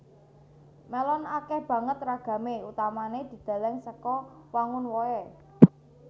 Melon akèh banget ragamé utamané dideleng saka wangun wohé